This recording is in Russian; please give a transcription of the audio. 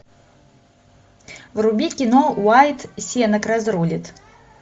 вруби кино уайат сенак разрулит